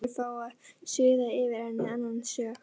Og flugurnar skulu fá að suða yfir henni annan söng.